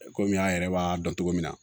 Komi an yɛrɛ b'a dɔn cogo min na